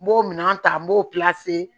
N b'o minɛn ta n b'o